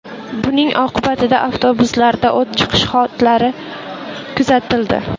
Buning oqibatida avtobuslarda o‘t chiqish holatlari kuzatildi.